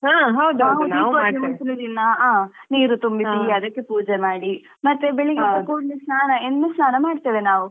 ನೀರು ತುಂಬಿಸಿ ಅದಕ್ಕೆ ಪೂಜೆ ಮಾಡಿ ಮತ್ತೆ ಬೆಳ್ಳಿಗ್ಗೆ ಎದ್ದಕೂಡ್ಲೆ ಸ್ನಾನ ಎಣ್ಣೆ ಸ್ನಾನ ಮಾಡ್ತೇವೆ ನಾವು.